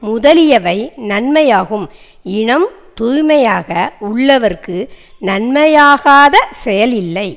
முதலியவை நன்மையாகும் இனம் தூய்மையாக உள்ளவர்க்கு நன்மையாகாத செயல் இல்லை